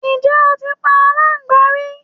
Ǹjẹ́ o ti pa aláńgbá rí?